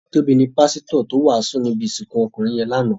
Tobi ni pàsitò tó wásùn ni ibi isikun ókúnrin yèn láná